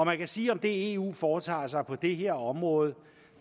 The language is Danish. man kan sige at det eu foretager sig på det her område